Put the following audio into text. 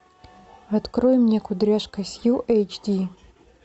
открой мне кудряшка сью эйч ди